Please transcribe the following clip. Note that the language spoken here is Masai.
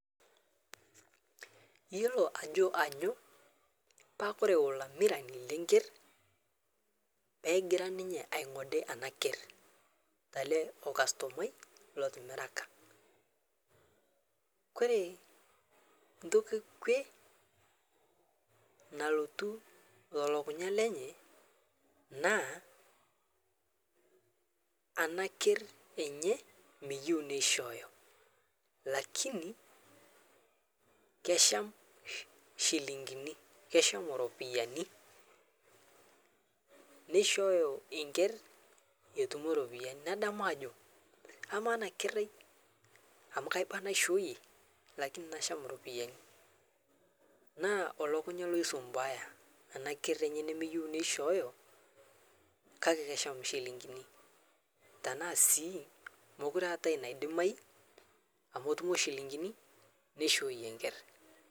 Iyiolo taa ore olamirani lee Nker pee egira ninye aingode ena keer ele kastomani otimirak ore entoki kwe nalotu telukunya enye naa ena keer enye meyieu nishooyo kake kesham njilingini kesham eropiani nishooyo enker petum eropiani nadamu Ajo amaa ena ker ai amu kaba naishooyie lakini kasham eropiani elukunya nasumbua ena keer enye meyieu nishooyo kake esham njilingini tenaa sii mekure etaa enaidimayu amu enoto njilingini naishooyie enker